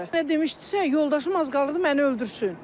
Demışdisə, yoldaşım az qalırdı məni öldürsün.